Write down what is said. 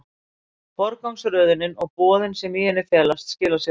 Forgangsröðunin og boðin sem í henni felast skila sér síðar.